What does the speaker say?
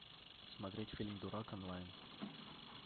смотреть фильм дурак онлайн